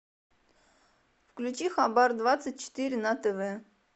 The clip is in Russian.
включи хабар двадцать четыре на тв